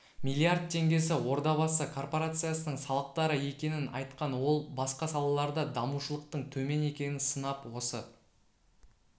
миллиард теңгесі ордабасы корпорациясының салықтары екенін айтқан ол басқа салаларда дамушылықтың төмен екенін сынап осы